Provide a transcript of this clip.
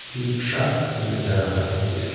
e rickshaw नजर आ रहा है जिसके--